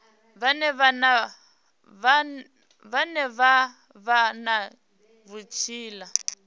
vhane vha vha na vhutsila